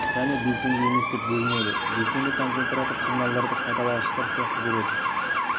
және белсенді емес деп бөлінеді белсенді концентраторлар сигналдарды қайталағыштар сияқты береді